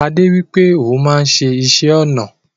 Ade wipe oun maa n se isé-ona